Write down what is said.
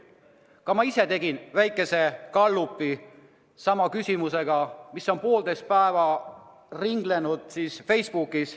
Ka ma ise tegin väikese gallupi sama küsimusega, mis on poolteist päeva ringelnud Facebookis.